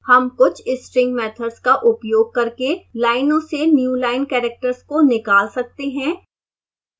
हम कुछ string methods का उपयोग करके लाइनों से newline characters को निकाल सकते हैं